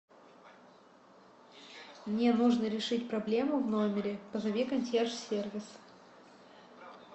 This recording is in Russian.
мне нужно решить проблему в номере позови консьерж сервис